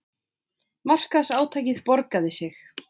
Markaðsátakið borgaði sig